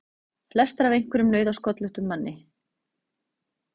Flestar af einhverjum nauðasköllóttum manni!